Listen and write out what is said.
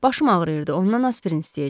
Başım ağrıyırdı, ondan aspirin istəyəcəkdim.